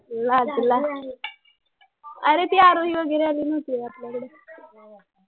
लाजला अरे ती आरोही वगैरे आली न्हवते होय आपल्याकडे